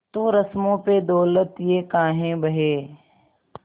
तो रस्मों पे दौलत ये काहे बहे